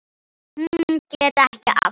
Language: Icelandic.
Hún gekk ekki aftur.